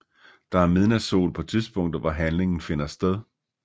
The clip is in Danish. Der er midnatssol på tidspunktet hvor handlingen finder sted